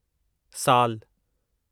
साल